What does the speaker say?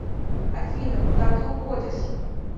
афина куда ты уходишь